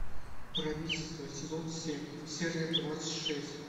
правительство сезон семь серия двадцать шесть